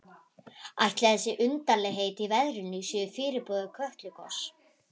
Ætli þessi undarlegheit í veðrinu séu fyrirboði Kötlugoss?